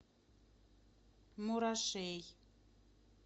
мурашей